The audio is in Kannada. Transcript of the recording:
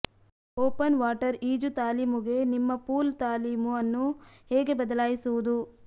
ಓಪನ್ ವಾಟರ್ ಈಜು ತಾಲೀಮುಗೆ ನಿಮ್ಮ ಪೂಲ್ ತಾಲೀಮು ಅನ್ನು ಹೇಗೆ ಬದಲಾಯಿಸುವುದು